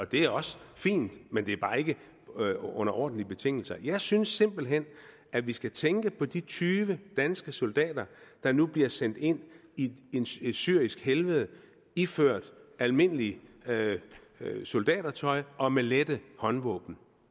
det er også fint men det er bare ikke under ordentlige betingelser jeg synes simpelt hen at vi skal tænke på de tyve danske soldater der nu bliver sendt ind i et syrisk helvede iført almindeligt soldatertøj og med lette håndvåben